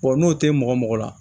n'o tɛ mɔgɔ mɔgɔ mɔgɔ la